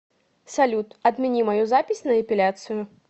салют отмени мою запись на эпиляцию